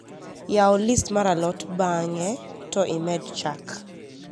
yau list mar a lot bang`e to imed chak